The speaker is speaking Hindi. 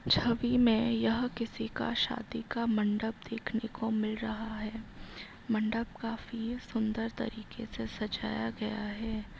छवि में यह किसी का शादी का मंडप देखने को मिल रहा है मंडप का चेहरा काफी सुंदर तरीके से सजाया गया है।